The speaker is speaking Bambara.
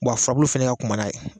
Bɔn a furabulu fɛnɛ ka kunba n'a ye